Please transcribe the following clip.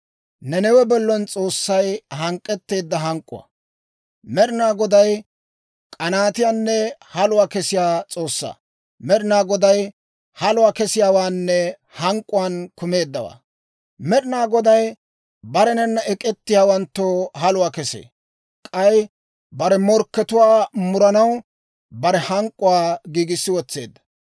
Med'inaa Goday k'anaatiyaanne haluwaa kessiyaa S'oossaa; Med'inaa Goday haluwaa kessiyaawaanne hank'k'uwaan kumeeddawaa; Med'inaa Goday barenanna ek'ettiyaawanttoo haluwaa kesee; k'ay bare morkkatuwaa muranaw bare hank'k'uwaa giigissi wotseedda.